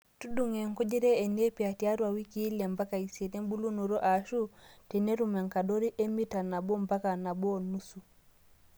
Tudung'o enkujita enepia tiatwa wikii ile mpaka isiet embulunoto ashuu tenetum enkadorii emita naboo mpaka nabo onusu.